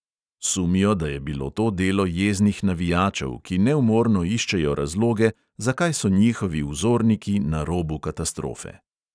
Sumijo, da je bilo to delo jeznih navijačev, ki neumorno iščejo razloge, zakaj so njihovi vzorniki na robu katastrofe.